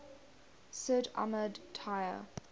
sid ahmed taya